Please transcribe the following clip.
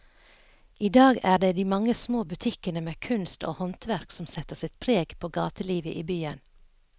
I dag er det de mange små butikkene med kunst og håndverk som setter sitt preg på gatelivet i byen.